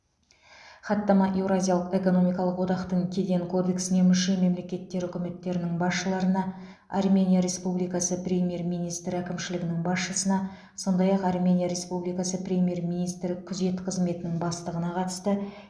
хаттама еуразиялық экономикалық одақтың кеден кодексіне мүше мемлекеттер үкіметтерінің басшыларына армения республикасы премьер министрі әкімшілігінің басшысына сондай ақ армения республикасы премьер министрі күзет қызметінің бастығына қатысты